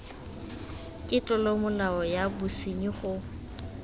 ke tlolomolao ya bosenyi go